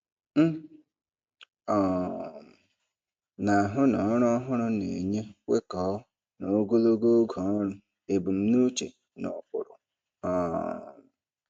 M um na-ahụ na ọrụ ọhụrụ na-enye kwekọọ na ogologo oge ọrụ ebumnuche na ụkpụrụ. um